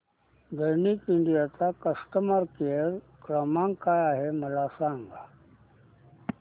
Daikin India चा customer care क्रमांक काय आहे मला सांगा